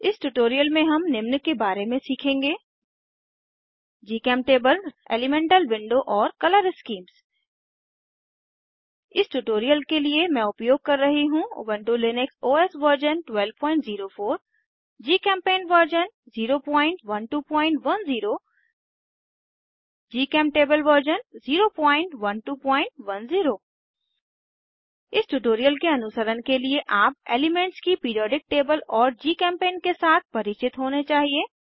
इस ट्यूटोरियल में हम निम्न के बारे में सीखेंगे जीचेमटेबल एलीमेंटल विंडो और कलर स्कीम्स इस ट्यूटोरियल के लिए मैं उपयोग कर रही हूँ Ubuntu Linux OS version 1204 GChemPaint version 01210 GChemTable version 01210 इस ट्यूटोरियल के अनुसरण के लिए आप एलीमेन्ट्स की पिरीऑडिक टेबल और जीचेम्पेंट के साथ परिचित होने चाहिए